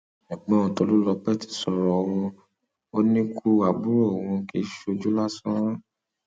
ẹgbọn tolulọpẹ ti sọrọ o ò ní ikú àbúrò òun kì í ṣojú lásán